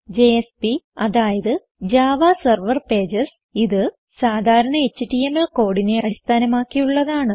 JSP അതായത് Java server Pages ഇത് സാധാരണ എച്ടിഎംഎൽ കോഡിനെ അടിസ്ഥാനമാക്കിയുള്ളതാണ്